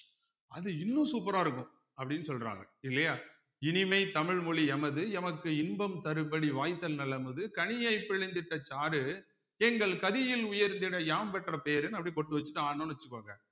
அது இன்னும் super ஆ இருக்கும் அப்படீன்னு சொல்றாங்க இல்லையா இனிமை தமிழ் மொழி எமது எமக்கு இன்பம் தரும்படி வாய்தல் நல் அமுது கனியைப் பிழிந்திட்ட சாறு எங்கள் கதியில் உயர்ந்திட யாம் பெற்ற பேருன்னு அப்படி பொட்டு வச்சுட்டு ஆடுனோம்னு வச்சுக்கோங்க